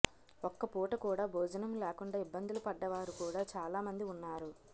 ఒక్కపూట కూడా భోజనం లేకుండా ఇబ్బందులు పడ్డవారు కూడా చాలామంది ఉన్నారు